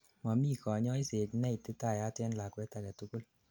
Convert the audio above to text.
momi kanyoiset neititayat en lakwet agetugul